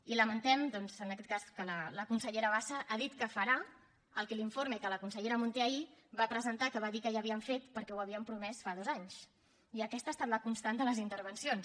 i lamentem doncs en aquest cas que la consellera bassa ha dit que farà el que l’informe que la consellera munté ahir va presentar que va dir que ja havien fet perquè ho havien promès fa dos anys i aquesta ha estat la constant de les intervencions